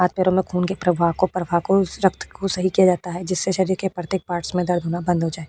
हाथ पैरो में खून के प्रभाव को प्रभा को रक्त को सही किया जाता है जिससे शरीर के प्रत्येक पार्ट्स में दर्द होना बंद हो जाये।